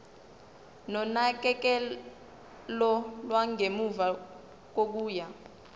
nonakekelo lwangemuva kokuya